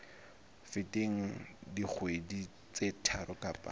feteng dikgwedi tse tharo kapa